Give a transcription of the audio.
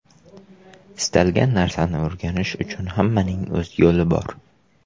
Istalgan narsani o‘rganish uchun hammaning o‘z yo‘li bor.